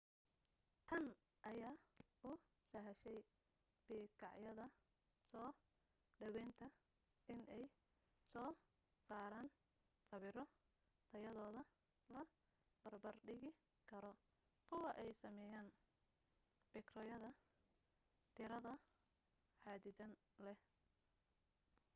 tan ayaa u sahashay bikaacyada soo dhawaynta inay soo saaraan sawiro tayadooda la barbar dhigi karo kuwa ay sameeyaan bikaacyada diiradda xaddidan leh